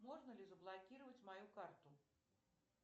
можно ли заблокировать мою карту